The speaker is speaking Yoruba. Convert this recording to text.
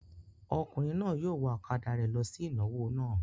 Ọkùnrin náà yóò wa ọ̀kadà rẹ̀ lọ sí ìnáwó náà.